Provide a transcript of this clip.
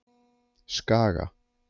Skaga